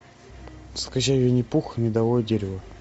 скачай винни пух и медовое дерево